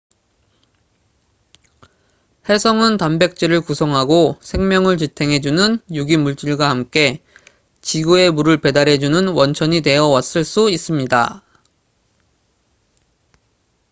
혜성은 단백질을 구성하고 생명을 지탱해 주는 유기 물질과 함께 지구에 물을 배달해 주는 원천이 되어 왔을 수 있습니다